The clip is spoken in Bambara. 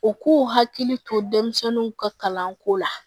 U k'u hakili to denmisɛnninw ka kalanko la